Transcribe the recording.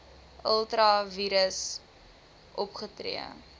ultra vires opgetree